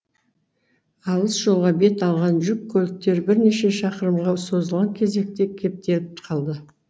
алыс жолға бет алған жүк көліктері бірнеше шақырымға созылған кезекте кептеліп қалды